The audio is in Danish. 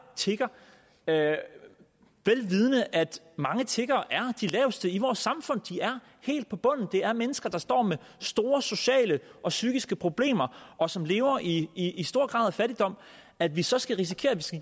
tigger vel vidende at mange tiggere er de laveste i vores samfund de er helt i bunden det er mennesker der står med store sociale og psykiske problemer og som lever i i stor grad af fattigdom og at vi så skal risikere at